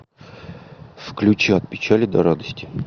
включи от печали до радости